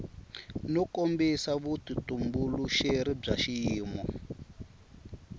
no kombisa vutitumbuluxeri bya xiyimo